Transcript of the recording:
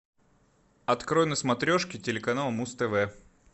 открой на смотрешке телеканал муз тв